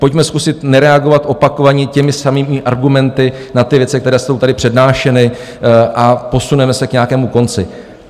Pojďme zkusit nereagovat opakovaně těmi samými argumenty na ty věci, které jsou tady přednášeny, a posuneme se k nějakému konci.